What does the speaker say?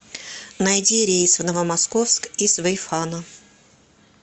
найди рейс в новомосковск из вэйфана